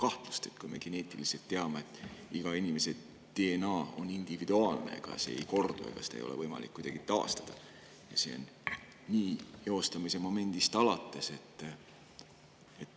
Me teame, et geneetiliselt on iga inimese DNA individuaalne, see ei kordu ja seda ei ole kuidagi võimalik taastada, ja nii on see eostamise momendist alates.